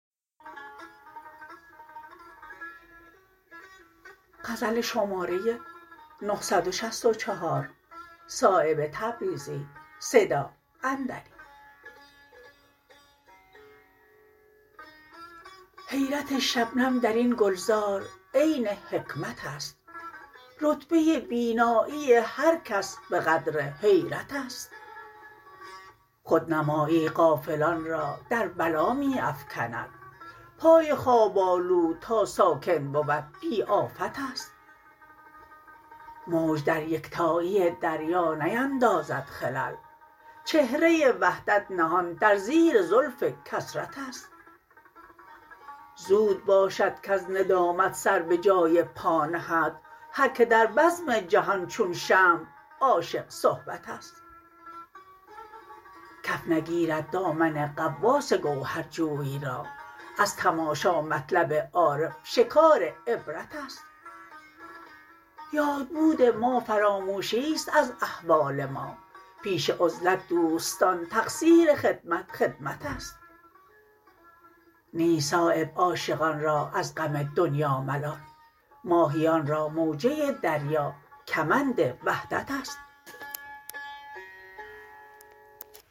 حیرت شبنم درین گلزار عین حکمت است رتبه بینایی هر کس به قدر حیرت است خودنمایی غافلان را در بلا می افکند پای خواب آلود تا ساکن بود بی آفت است موج در یکتایی دریا نیندازد خلل چهره وحدت نهان در زیر زلف کثرت است زود باشد کز ندامت سر به جای پا نهد هر که در بزم جهان چون شمع عاشق صحبت است کف نگیرد دامن غواص گوهر جوی را از تماشا مطلب عارف شکار عبرت است یادبود ما فراموشی است از احوال ما پیش عزلت دوستان تقصیر خدمت خدمت است نیست صایب عاشقان را از غم دنیا ملال ماهیان را موجه دریا کمند وحدت است